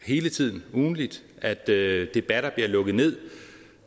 hele tiden ugentligt at debatter bliver lukket ned